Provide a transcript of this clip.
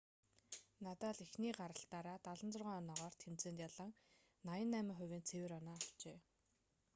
надал эхний гаргалтаараа 76 оноогоор тэмцээнд ялан 88%-ийн цэвэр оноо авчээ